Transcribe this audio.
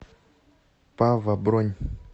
пава бронь